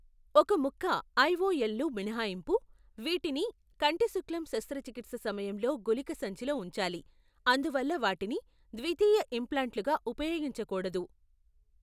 ఒక ముక్క ఐఒఎల్లు మినహాయింపు, వీటిని కంటిశుక్లం శస్త్రచికిత్స సమయంలో గుళిక సంచిలో ఉంచాలి, అందువల్ల వాటిని ద్వితీయ ఇంప్లాంట్లుగా ఉపయోగించకూడదు.